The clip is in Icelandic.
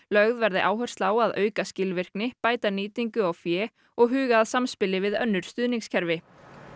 lögð verði áhersla á að auka skilvirkni bæta nýtingu á fé og huga að samspili við önnur stuðningskerfi